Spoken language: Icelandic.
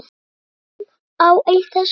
Lítum á eitt þessara mála.